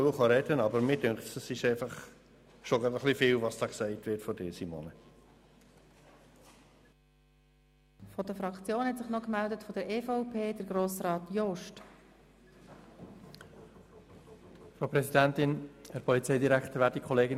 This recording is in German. Und eigentlich wollte ich gar nicht mehr nach vorne reden kommen, aber ich finde es schon gerade ein bisschen viel, was da von dir gesagt wurde, Simone.